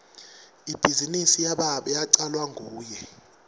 ibhizinisi yababe yacalwa nguye